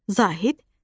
Zahid Xəlil.